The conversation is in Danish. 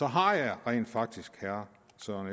har jeg rent faktisk herre